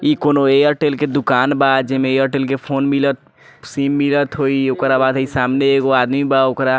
इ कोनो एयरटेल के दुकान बा जे मे एयरटेल के फोन मिलत सिम मिलत होई ओकरा बादे सामने एगो आदमी बा ओकरा --